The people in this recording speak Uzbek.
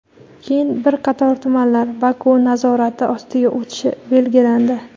keyin bir qator tumanlar Baku nazorati ostiga o‘tishi belgilandi.